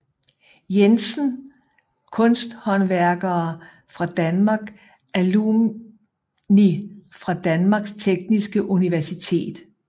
Jensen Kunsthåndværkere fra Danmark Alumni fra Danmarks Tekniske Universitet